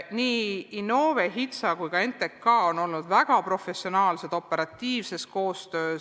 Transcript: Nii Innove, HITSA kui ka NTK on olnud väga professionaalsed operatiivses koostöös.